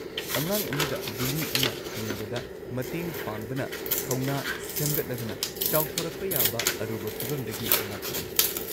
ꯑꯉꯥꯡ ꯑꯃꯗ ꯕꯨꯂꯤ ꯑꯃ ꯊꯦꯡꯅꯕꯗ ꯃꯇꯦꯡ ꯄꯥꯡꯕꯅ ꯊꯧꯅ ꯁꯦꯝꯒꯠꯂꯗꯨꯅ ꯆꯥꯎꯊꯣꯔꯛꯄ ꯌꯥꯕ ꯑꯔꯨꯕ ꯐꯤꯚꯝꯗꯒꯤ ꯉꯥꯛꯊꯣꯛꯏ꯫